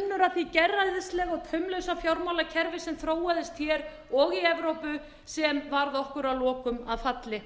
því gerræðislega og taumlausa fjármálakerfi sem þróaðist hér og í evrópu sem varð okkur að lokum að falli